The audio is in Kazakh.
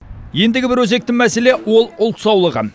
ендігі бір өзекті мәселе ол ұлт саулығы